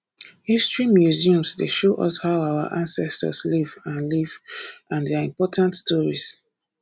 history museum dey show us how our ancestors live and live and their important stories